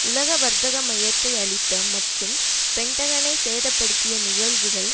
உலக வர்த்தக மையத்தை அழித்த மற்றும் பென்டகனை சேத படுத்திய நிகழ்வுகள்